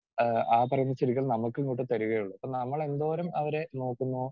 Speaker 2 ആഹ് പറഞ്ഞ ചെടികൾ നമുക്കിങ്ങോട്ട് തരികയുള്ളൂ. അപ്പം നമ്മളെന്തോരം അവരെ നോക്കുന്നോ